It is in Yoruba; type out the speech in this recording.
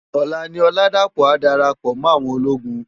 Òlá ni Oladapo á dárápò mò áwòn ólógùn.